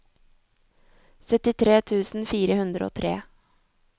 syttitre tusen fire hundre og tre